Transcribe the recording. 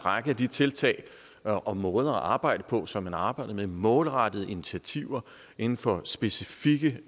række af de tiltag og måder at arbejde på som man arbejdede med nemlig målrettede initiativer inden for specifikke